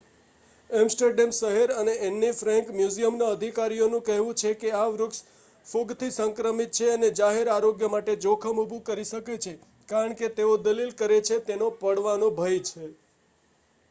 Amsterdam શહેર અને Anne Frank મ્યુઝિયમના અધિકારીઓ નું કહેવું છે કે આ વૃક્ષ ફૂગથી સંક્રમિત છે અને જાહેર આરોગ્ય માટે જોખમ ઊભું કરે શકે છે કારણ કે તેઓ દલીલ કરે છે કે તેનો પડવાનો ભય છે